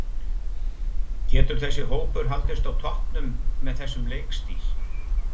Getur þessi hópur haldist á toppnum með þessum leikstíl?